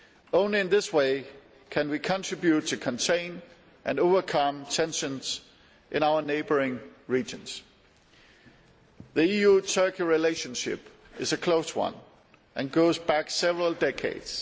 Only in this way can we contribute to containing and overcoming tensions in our neighbouring regions. The EU Turkey relationship is a close one and goes back several decades.